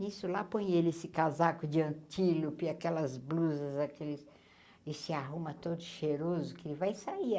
Nisso, lá, põe ele esse casaco de antílope, aquelas blusas, aqueles... e se arruma todo cheiroso, que ele vai sair.